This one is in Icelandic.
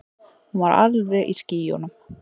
Hún var alveg í skýjunum.